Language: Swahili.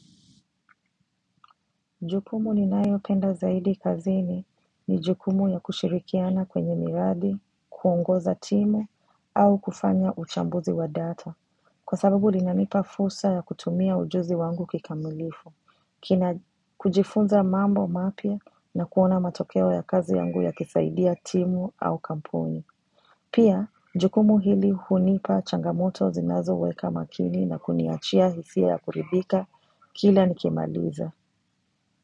Jukumu ninayopenda zaidi kazini ni jukumu ya kushirikiana kwenye miradi, kuongoza timu, au kufanya uchambuzi wa data. Kwa sababu linanipa fursa ya kutumia ujuzi wangu kikamilifu, kujifunza mambo mapya na kuona matokeo ya kazi yangu yakisaidia timu au kampuni. Pia, jukumu hili hunipa changamoto zinazoweka makini na kuniachia hisia ya kuridhika, kila nikimaliza.